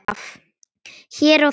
Hér og þar.